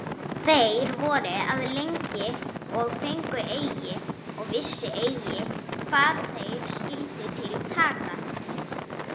Þeir voru að lengi og fengu eigi, og vissu eigi hvað þeir skyldu til taka.